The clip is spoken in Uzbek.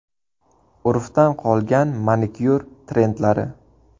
Urfdan qolgan manikyur trendlari.